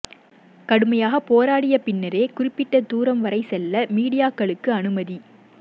கடுமையாகப் போராடிய பின்னரே குறிப்பிட்ட தூரம் வரை செல்ல மீடியாக்களுக்கு அனுமதி